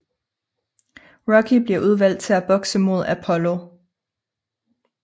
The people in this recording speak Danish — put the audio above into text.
Rocky bliver udvalgt til at bokse mod Apollo